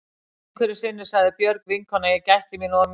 Einhverju sinni sagði Björg vinkona að ég gætti mín of mikið.